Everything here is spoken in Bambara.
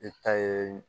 E ta ye